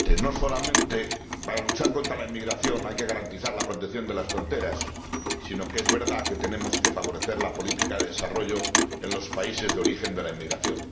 Sí, efectivamente, para luchar contra la inmigración no solamente hay que garantizar la protección de las fronteras, sino que es verdad que tenemos que favorecer la política de desarrollo en los países de origen de la inmigración.